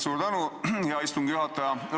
Suur tänu, hea istungi juhataja!